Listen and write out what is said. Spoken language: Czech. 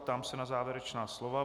Ptám se na závěrečná slova.